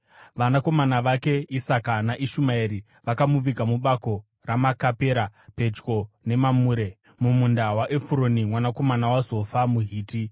Vanakomana vake Isaka naIshumaeri vakamuviga mubako reMakapera pedyo neMamure, mumunda waEfuroni mwanakomana waZofa muHiti,